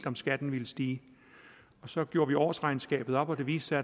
om skatten ville stige så gjorde vi årsregnskabet op og det viste